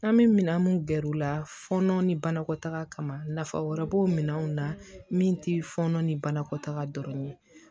An bɛ minɛn minnu gɛr'u la fɔnɔ ni banakɔtaga kama nafa wɛrɛ b'o minɛnw na min ti fɔnɔ ni banakɔtaga dɔrɔn ye